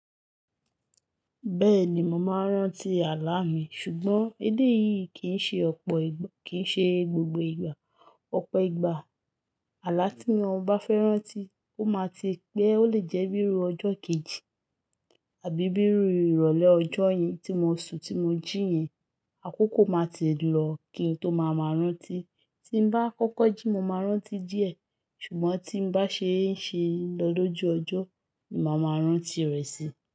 Bẹ́ẹ̀ni, mo máa ń rántí àlá mi, ṣùgbọ́n èdè yìí kì í ṣe ọ̀pọ̀ ìgbà, kì í ṣe gbogbo ìgbà. Ọ̀pọ̀ ìgbà àlá tí mo bá fẹ́ rántí ó máa ti pé. Ó lè jẹ́ bíi ru ọjọ́ kejì àbí bíi iru ìrọ̀lẹ́ ọjọ́ yẹn tí mo sun tí mo jí yẹn, àkókò máa tí ì lọ kí n tó máa ma rántí. Tí n bá kọ́kọ́ jí mo máa rántí díẹ̀, ṣùgbọ́n tí n bá ṣe ń ṣe lọ lóju ọjọ́, ni máa ma rántí rẹ̀ si.